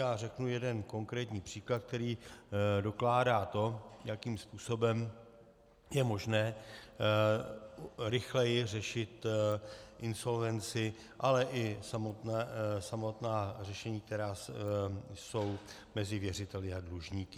Já řeknu jeden konkrétní příklad, který dokládá to, jakým způsobem je možné rychleji řešit insolvenci, ale i samotná řešení, která jsou mezi věřiteli a dlužníky.